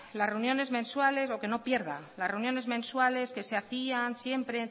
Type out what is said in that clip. las reuniones mensuales o que no pierda las reuniones mensuales que se hacían siempre